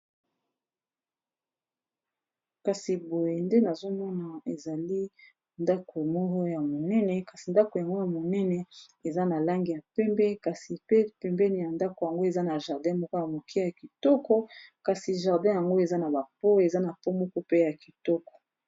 kasi boye nde nazomona ezali ndako moko ya monene kasi ndako yango ya monene eza na langi ya pembe kasi pe pembeni ya ndako yango eza na jardin moko ya moke ya kitoko kasi jardin yango eza na bapo eza na pomoko pe ya kitoko